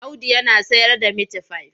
Audu yana sayarda mitifai.